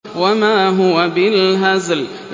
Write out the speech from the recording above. وَمَا هُوَ بِالْهَزْلِ